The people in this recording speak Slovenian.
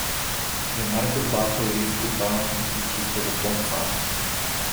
Je mar Gorbačov res pripravljen iti čisto do konca?